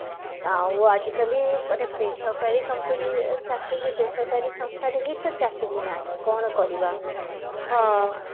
ଆଉ ଆଜି କାଲି ମାନେ ବେସରକାରୀ company ରେ ଚାକିରିରେ ବେସରକାରୀ ସଂସ୍ଥା ଯେହେତୁ ଚାକିରି ନାହି କଣ କରିବା ଆମେ